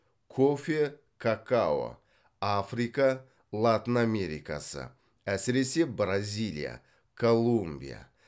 кофе какао африка латын америкасы әсіресе бразилия колумбия